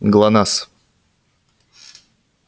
глонассс